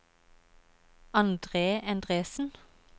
Andre Endresen